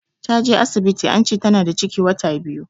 Ta je asibiti ance Tana da ciki wata biyu.